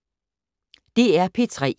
DR P3